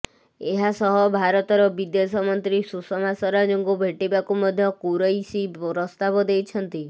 ଏହାସହ ଭାରତର ବିଦେଶ ମନ୍ତ୍ରୀ ସୁଷମା ସ୍ୱରାଜଙ୍କୁ ଭେଟିବାକୁ ମଧ୍ୟ କୁରୈସୀ ପ୍ରସ୍ତାବ ଦେଇଛନ୍ତି